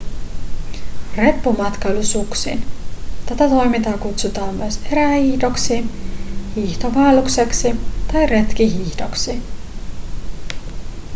reppumatkailu suksin tätä toimintaa kutsutaan myös erähiihdoksi hiihtovaellukseksi tai retkihiihdoksi